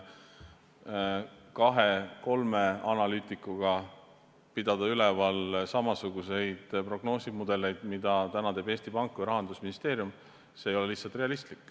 Kahe-kolme analüütikuga teha samasuguseid prognoosimudeleid, nagu täna teevad Eesti Pank või Rahandusministeerium, ei ole lihtsalt realistlik.